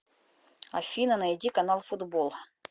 афина найди канал футбол